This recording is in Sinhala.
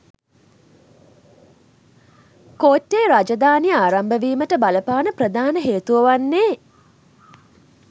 කෝට්ටේ රාජධානිය ආරම්භ වීමට බලපාන ප්‍රධාන හේතුව වන්නේ